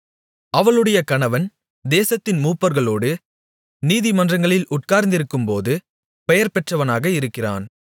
அவளுடைய கணவன் தேசத்தின் மூப்பர்களோடு நீதிமன்றங்களில் உட்கார்ந்திருக்கும்போது பெயர் பெற்றவனாக இருக்கிறான்